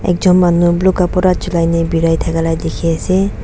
ekjon manu blue kapra chulai na birai thakala dikhiase.